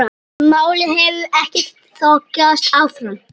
Málið hefur ekkert þokast áfram.